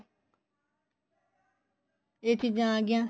ਇਹ ਚੀਜ਼ਾਂ ਆ ਗਈਆਂ